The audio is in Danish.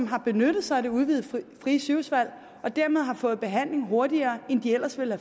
har benyttet sig af det udvidede frie sygehusvalg og dermed har fået behandling hurtigere end de ellers ville